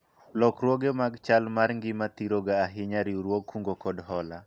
lokruoge mag chal mar ngima thiro ga ahinya riwruog kungo kod hola